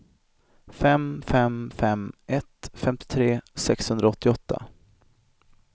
fem fem fem ett femtiotre sexhundraåttioåtta